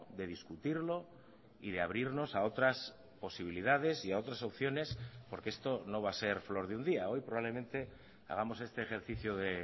de discutirlo y de abrirnos a otras posibilidades y a otras opciones porque esto no va a ser flor de un día hoy probablemente hagamos este ejercicio de